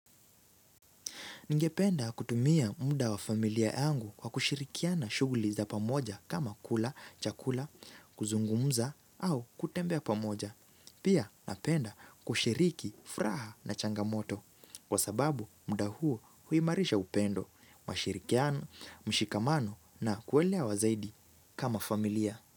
Ningependa kutumia muda wa familia yangu kwa kushirikiana shughuli za pamoja kama kula, chakula, kuzungumza au kutembea pamoja. Pia napenda kushiriki, furaha na changamoto kwa sababu muda huo huimarisha upendo, mashirikiano, mshikamano na kuelewa zaidi kama familia.